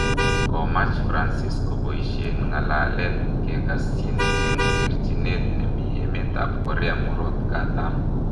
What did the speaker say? Komach Francis keboisien ngalalet kegasyin en terchinet nemi emet ab Korea murot katam